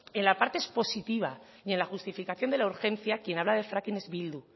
en la parte expositiva y en la justificación de la urgencia quien habla de fracking es bildu